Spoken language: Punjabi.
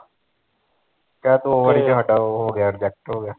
ਕਹਿ ਦੋ ਵਾਰੀ ਤੇ ਹਾਡਾ ਓਹ ਹੋ ਗਿਆ reject ਹੋ ਗਿਆ